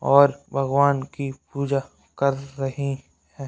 --और भगवान की पूजा कर रही है।